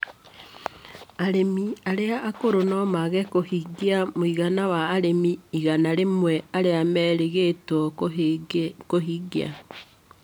Arĩmi arĩa akũrũ no mage kũhingia mũigana wa arĩmi igana rĩmwe arĩa merĩgĩrĩirwo kũhingia.